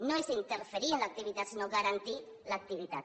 no és interferir en l’activitat sinó garantir l’activitat